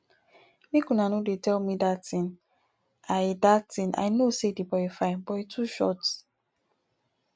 make una no dey tell me dat thing i dat thing i know say the boy fine but he too short